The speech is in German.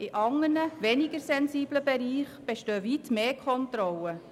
In anderen, weniger sensiblen Bereichen bestehen weit mehr Kontrollen.